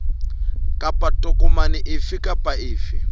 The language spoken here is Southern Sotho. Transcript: kapa tokomane efe kapa efe